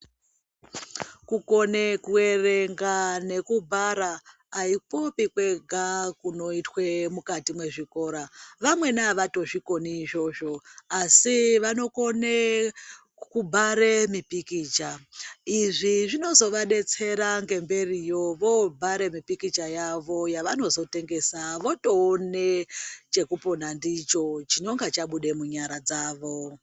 Kukone ku erenga ngeku bhara aikupi kwega kunoitwe mukati me zvikora vamweni avato zvikoni izvozvo asi vanokone ku bhare mi pikicha izvi zvinozo vadetsera ngemberi yo vobhare mipikicha yavo yavonozo tengesa votoone cheku pona ndicho chinonga chabude mu nyara dzavo.